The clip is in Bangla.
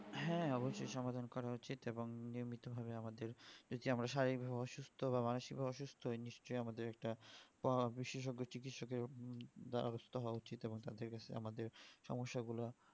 হ্যাঁ অবশ্যই সমাধান করা উচিত এবং নিয়মিত ভাবে আমাদের যে আমরা শারীরিক অসুস্থ বা মানসিক অসুস্থ নিশ্চই আমাদের একটা আহ বিশেষজ্ঞ চিকিৎসকের ব্যবস্থা হওয়া উচিত এবং তাদের কাছে আমাদের সমস্যা গুলো